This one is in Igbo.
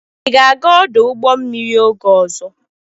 Ị ga-aga ọdụ ụgbọ mmiri oge ọzọ?